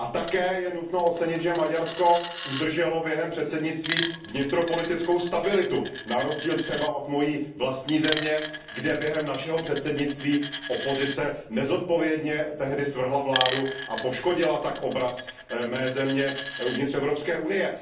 A také je nutno ocenit, že Maďarsko udrželo během předsednictví vnitropolitickou stabilitu, na rozdíl třeba od mojí vlastní země, kde během našeho předsednictví opozice nezodpovědně svrhla vládu a poškodila tak obraz mé země uvnitř Evropské unie.